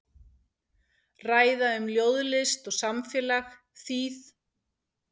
Ræða um ljóðlist og samfélag, þýð.